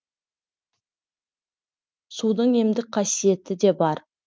судың емдік қасиеті де бар